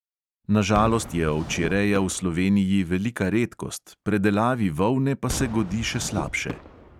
Na žalost je ovčjereja v sloveniji velika redkost, predelavi volne pa se godi še slabše.